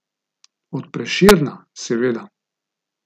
Od Prešerna, seveda.